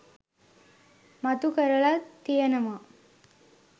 මතු කරලා තියෙනවා.